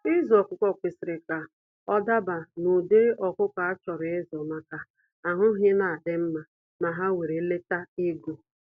Ịzụ ọkụkọ kwesịrị ka ọ dabaa na ụdịrị ọkụkọ a chọrọ ịzụ maka ahụ ha ina adị mma na ha were lete ego.